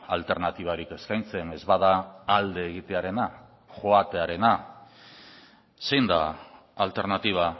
alternatibarik eskaintzen ez bada alde egitearena joatearena zein da alternatiba